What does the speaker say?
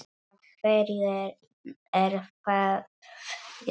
Af hverju er það gert?